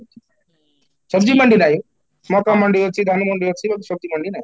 ମାଣ୍ଡି ନାଇଁ ମକା ମାଣ୍ଡି ଅଛି ଧାନ ମାଣ୍ଡି ଅଛି ମାଣ୍ଡି ନାହିଁ